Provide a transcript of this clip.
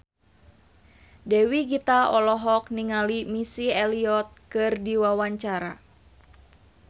Dewi Gita olohok ningali Missy Elliott keur diwawancara